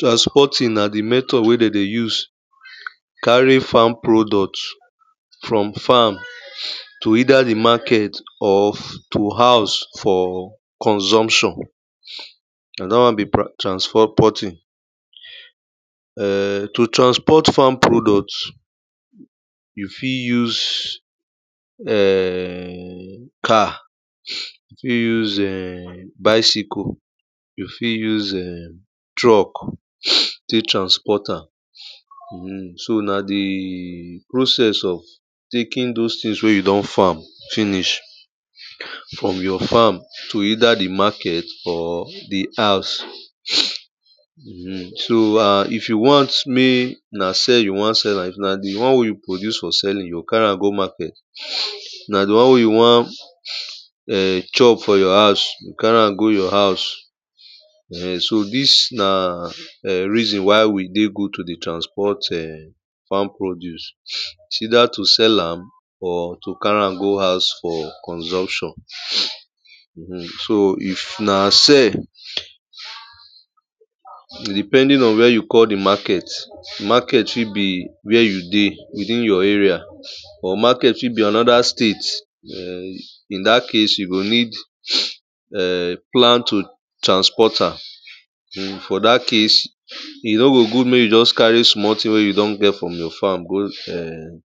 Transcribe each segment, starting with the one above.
transporting na di method wey de dey use carry farm product from farm to either di market or to house for consumption. na da won be ?] transporting. um to transport farm product, you fit use um car, you fit use um bicycle, you fi use um truck tek transport am so na di process of taking those tin wey you don farm finish from your farm to either di market or di house. um so an if you want mek na sell you won sell an if na di won wey you use for selling you carry am go market if na di won wey you wan chop for your house, you go carry an go your house. um so dis na reason why e dey good to dey transport um farm produce. is either to sell am or to carry am go house for consumption.[um] so if na sell e depending on where you call di market, market fi be where you dey within your area or market fi be anoda state um in dat case you go need um plan to transport an, for dat case, e no go good mek you just carry small tin wey you don get from your farm go um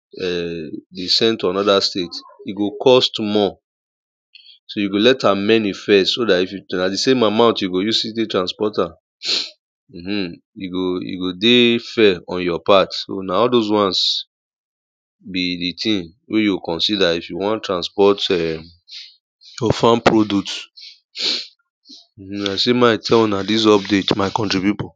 dey send to anoda state e go cost more so you go let am many first so dat na di same amount you go use tek transport am.[um] e go e go dey fair on your part so na all those wans be di tin wey you o consider if you wan transport um farm produce. i sey ma tell una dis update my country pipu.